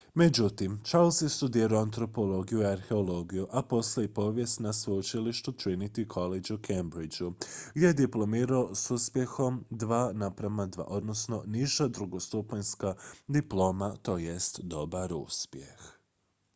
"međutim charles je studirao antropologiju i arheologiju a poslije i povijest na sveučilištu trinity college u cambridgeu gdje je diplomirao s uspjehom "2:2" niža drugostupanjska diploma tj. dobar uspjeh.